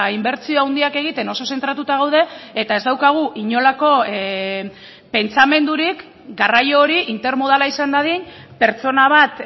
inbertsio handiak egiten oso zentratuta gaude eta ez daukagu inolako pentsamendurik garraio hori intermodala izan dadin pertsona bat